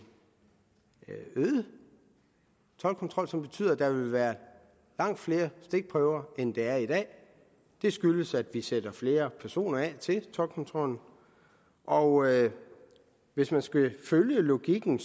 øget toldkontrol som betyder at der vil være langt flere stikprøver end der er i dag det skyldes at vi sætter flere personer af til toldkontrollen og hvis man skal følge logikken